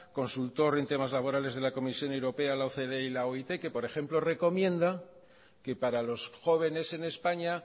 consultor de temas laborales de la comisión europea la ocd y la oit que por ejemplo recomienda que para los jóvenes en españa